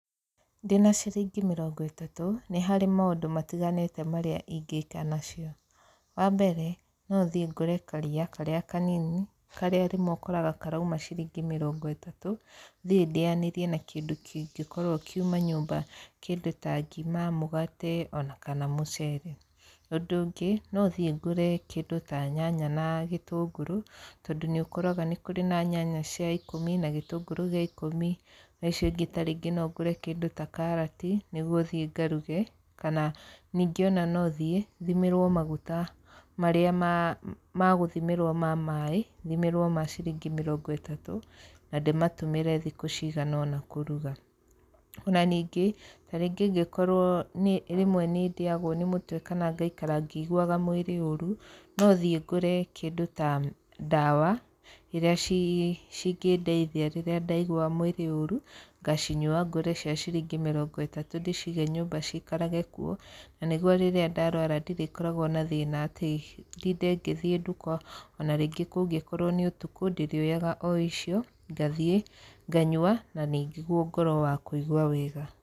Ndĩna ciringi mĩrongo ĩtatũ nĩ harĩ maũndũ matiganĩte marĩa ingĩka nacio. Wambere no thiĩ ngure karia karĩa kanini karĩa rĩmwe ũkoraga karauma ciringi mĩrongo ĩtatũ, thiĩ ndĩyanĩrie na kĩndũ kĩngĩkorwo kiuma nyũmba kĩndũ ta ngima, mũgate ona kana mũcere. Ũndũ ũngĩ no thiĩ ngũre kĩndũ ta nyanya na gĩtũngũrũ tondũ nĩũkoraga nĩ kũrĩ na nyanya cia ikũmi na gĩtũngũrũ gĩa ikũmi na icio ingĩ no ngũre kĩndũ ta karati nĩguo thiĩ ngaruge. Kana ningĩ no thiĩ thimĩrwo maguta marĩa ma gũthimĩrwo ma maaĩ thimĩrwo ma ciringi mĩrongo ĩtatũ na ndĩmatũmĩre thikũ cigana ona kũruga. Ona ningĩ ingĩkorwo rĩmwe nĩndĩyagwo nĩ mũtwe kana ngaikara ngĩiguaga mwĩrĩ ũru no thiĩ ngũre kĩndũ ta ndawa iria cingĩndeithia rĩrĩa ndaigua mwĩrĩ ũru ngaciyua. Ngure cia ciringi mĩrongo ĩtatũ ndĩcige nyũmba cikarage kuo na nĩguo rĩrĩa ndarwara ndirĩkoragwo na thĩna atĩ ndinde ngĩthiĩ nduka ona rĩngĩ kũngĩkorwo nĩ ũtukũ ndĩrĩoyaga o icio ngathiĩ nganyua na nĩguo ngorwo wa kũigua wega.